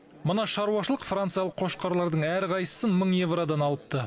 мына шаруашылық франциялық қошқарлардың әрқайсысын мың евродан алыпты